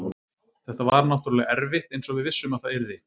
Þetta var náttúrulega erfitt eins og við vissum að það yrði.